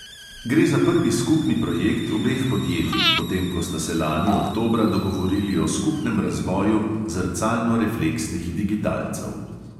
Gre za prvi skupni projekt obeh podjetij, potem ko sta se lani oktobra dogovorili o skupnem razvoju zrcalnorefleksnih digitalcev.